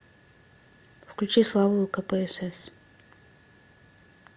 включи славу кпсс